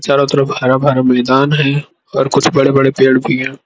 चारों तरफ हरा भरा मैदान है और कुछ बड़े बड़े पेड़ भी है।